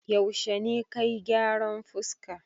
Yaushe ne ka yi gyaran fuska?